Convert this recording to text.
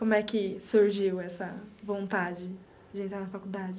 Como é que surgiu essa vontade de entrar na faculdade?